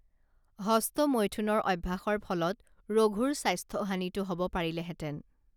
হস্তমৈথুনৰ অভ্যাসৰ ফলত ৰঘুৰ স্বাস্থ্য হানিতো হব পাৰিলেহেঁতেন